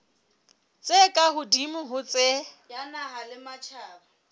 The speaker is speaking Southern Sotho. tse ka hodimo ho tse